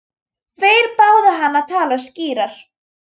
Þeir báðu hann að tala skýrar.